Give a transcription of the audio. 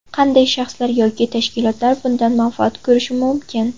Qanday shaxslar yoki tashkilotlar bundan manfaat ko‘rishi mumkin?